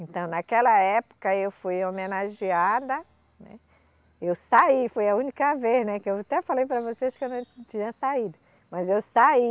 Então, naquela época eu fui homenageada, né, eu saí, foi a única vez, né, que eu até falei para vocês que eu não tinha saído, mas eu saí.